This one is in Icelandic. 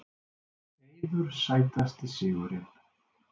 Eiður Sætasti sigurinn?